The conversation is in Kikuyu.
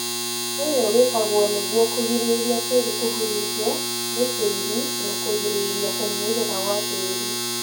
ũyũ wĩkagwo nĩguo kũgirĩrĩria tĩri kũhurunjwo nĩ tĩri na kũgĩrĩria kũmumuthũka gwa tĩri